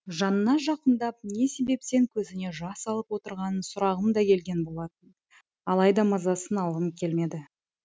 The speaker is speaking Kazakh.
жанына жақындап не себептен көзіне жас алып отырғанын сұрағым да келген болатын алайда мазасын алғым келмеді